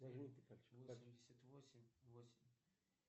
восемьдесят восемь восемь